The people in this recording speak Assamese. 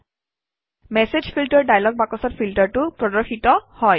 মেচেজ ফিল্টাৰ ডায়লগ বাকচত ফিল্টাৰটো প্ৰদৰ্শিত হয়